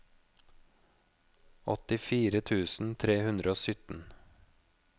åttifire tusen tre hundre og sytten